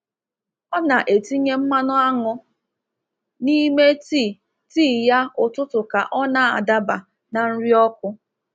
Ọ na-etinye mmanụ aṅụ n’ime tii tii ya ụtụtụ ka ọ na-adaba na nri ọkụ.